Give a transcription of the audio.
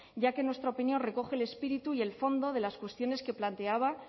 ya que en nuestra opinión recoge el espíritu y el fondo de las cuestiones que planteaba